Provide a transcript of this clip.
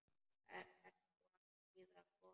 Ertu að smíða kofa?